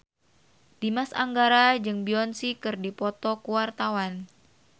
Dimas Anggara jeung Beyonce keur dipoto ku wartawan